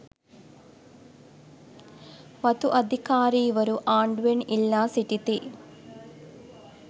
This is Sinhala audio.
වතු අධිකාරීවරු ආණ්ඩුවෙන් ඉල්ලා සිටිති